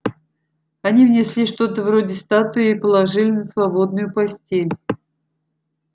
они внесли что-то вроде статуи и положили на свободную постель